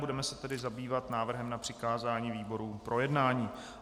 Budeme se tedy zabývat návrhem na přikázání výborům k projednání.